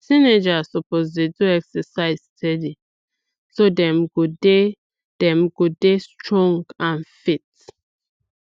teenagers suppose dey do exercise steady so dem go dey dem go dey strong and fit